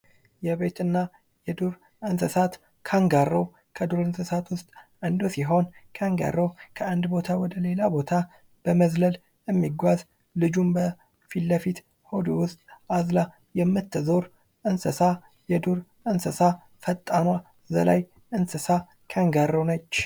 የቤትና የዱር እንስሳት ካንጋሮ ከዱር እንስሳት ውስጥ አንዱ ሲሆን ካንጋሮ ከአንድ ቦታ ወደሌላ ቦታ በመዝለል የሚጓዝ ልጁን በፊለፊት ሆድ ውስጥ አዝላ የምትዞር እንስሳ ፣ የዱር እንስሳ፣ ፈጣኗ ዘላይ እንስሳ ካንጋሮ ነች።